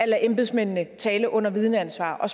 lade embedsmændene tale under vidneansvar og